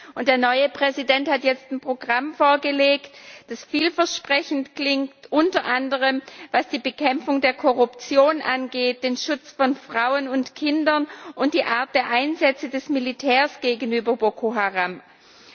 Und der neue Präsident hat jetzt ein Programm vorgelegt, das vielversprechend klingt unter anderem, was die Bekämpfung der Korruption, den Schutz von Frauen und Kindern und die Art der Einsätze des Militärs gegenüber Boko Haram angeht.